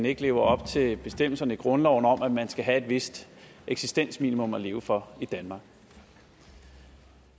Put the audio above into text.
ikke lever op til bestemmelserne i grundloven om at man skal have et vist eksistensminimum at leve for i danmark